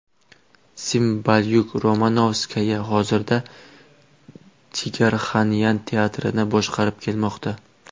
Simbalyuk-Romanovskaya hozirda Jigarxanyan teatrini boshqarib kelmoqda.